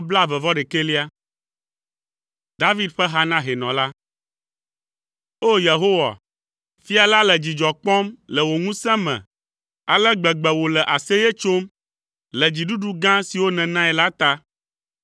David ƒe ha na hɛnɔ la. O! Yehowa, fia la le dzidzɔ kpɔm le wò ŋusẽ me. Ale gbegbe wòle aseye tsom le dziɖuɖu gã siwo nènae la ta!